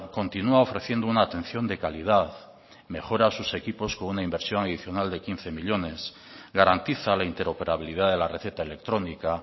continua ofreciendo una atención de calidad mejora sus equipos con una inversión adicional de quince millónes garantiza la interoperabilidad de la receta electrónica